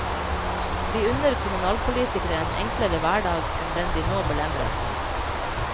Vi unner kommunalpolitikere en enklere hverdag enn den de nå belemres med.